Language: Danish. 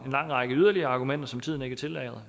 en lang række yderligere argumenter som tiden ikke tillader